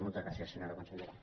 moltes gràcies senyora consellera